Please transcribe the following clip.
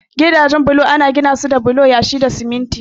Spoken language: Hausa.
Gidajen bulo ana ginasu da bulo, yashi da siminti.